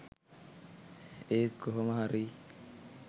ඒත් කොහොම හරි